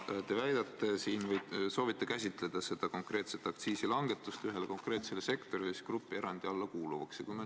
Te soovite võimaldada seda konkreetset aktsiisilangetust ühele konkreetsele sektorile grupierandi alla kuuluvana.